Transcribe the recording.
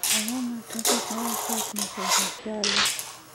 Ang�o ma trafik ma wuok e ot nyaka e tich chalo?